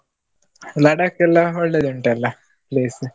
ಲಡಕ್ ಎಲ್ಲಾ ಒಳ್ಳೇದುಂಟಲ್ಲ place .